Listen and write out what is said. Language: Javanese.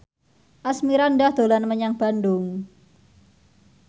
Asmirandah dolan menyang Bandung